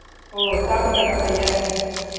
ஒ சாப்புட்டன பையன்